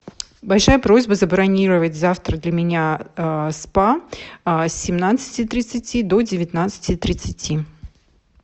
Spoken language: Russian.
большая просьба забронировать завтра для меня спа с семнадцати тридцати до девятнадцати тридцати